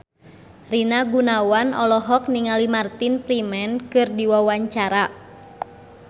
Rina Gunawan olohok ningali Martin Freeman keur diwawancara